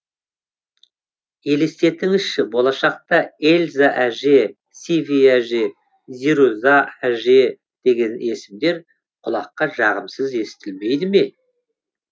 елестетіңізші болашақта эльза әже сиви әже зируза әже деген есімдер құлаққа жағымсыз естілмейді ме